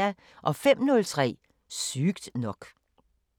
05:03: Sygt nok